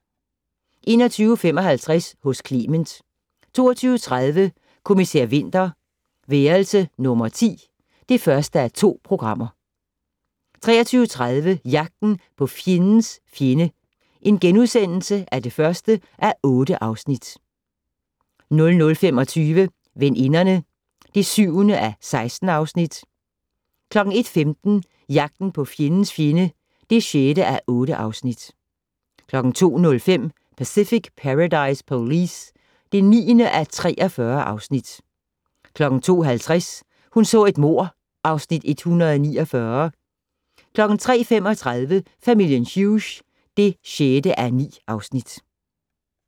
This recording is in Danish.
21:55: Hos Clement 22:30: Kommissær Winter: Værelse nummer 10 (1:2) 23:30: Jagten på fjendens fjende (1:8)* 00:25: Veninderne (7:16) 01:15: Jagten på fjendens fjende (6:8) 02:05: Pacific Paradise Police (9:43) 02:50: Hun så et mord (Afs. 149) 03:35: Familien Hughes (6:9)